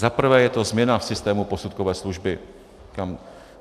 Zaprvé je to změna v systému posudkové služby.